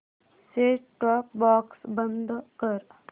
set top box बंद कर